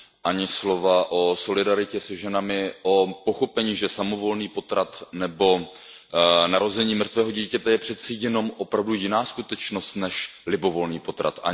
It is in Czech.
Ani slova o solidaritě se ženami, o pochopení, že samovolný potrat nebo narození mrtvého dítěte je přece jenom jiná skutečnost než libovolný potrat.